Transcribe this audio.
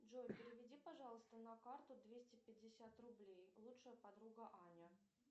джой переведи пожалуйста на карту двести пятьдесят рублей лучшая подруга аня